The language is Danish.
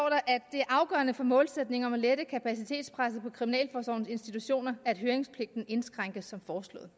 er afgørende for målsætningen om at lette kapacitetspresset på kriminalforsorgens institutioner at høringspligten indskrænkes som foreslået